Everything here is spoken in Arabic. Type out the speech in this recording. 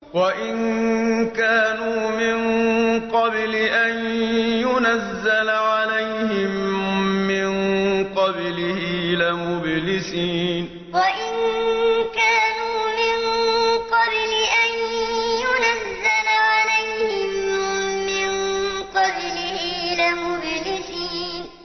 وَإِن كَانُوا مِن قَبْلِ أَن يُنَزَّلَ عَلَيْهِم مِّن قَبْلِهِ لَمُبْلِسِينَ وَإِن كَانُوا مِن قَبْلِ أَن يُنَزَّلَ عَلَيْهِم مِّن قَبْلِهِ لَمُبْلِسِينَ